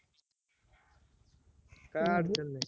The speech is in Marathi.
काय अडचण नाय